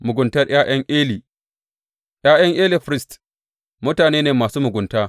Muguntar ’ya’yan Eli ’Ya’yan Eli firist, mutane ne masu mugunta.